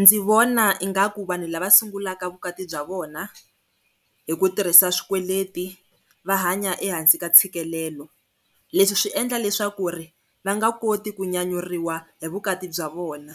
Ndzi vona ingaku vanhu lava sungulaka vukati bya vona hi ku tirhisa swikweleti va hanya ehansi ka ntshikelelo. Leswi swi endla leswaku va nga nga koti ku nyanyuriwa hi vukati bya vona,